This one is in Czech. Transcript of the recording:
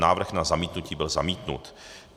Návrh na zamítnutí byl zamítnut.